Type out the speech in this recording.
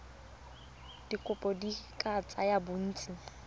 dikopo di ka tsaya bontsi